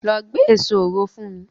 Lọ gbé èso òro fún mi!